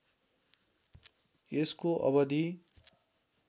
यसको अवधि